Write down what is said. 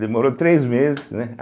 Demorou três meses, né?